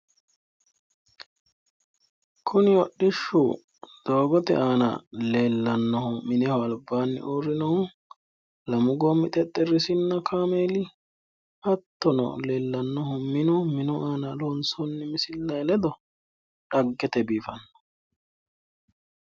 Kuni hodhishshu doogote aana leellannohu mineho albaanni uurrinohu lamu goommi xexxerrisinna kaameeli hattono leellannohu minu, minu aana loonsoonni misillay ledo xaggete biifanno.